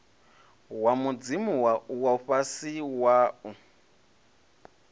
wa mudzimu wo fhiwa wau